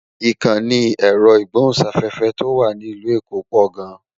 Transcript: Ìkànnì ẹ̀rọ ìgbóhùn-sáfẹ́fẹ́ tó wà ní ìlú èkó pò gan-an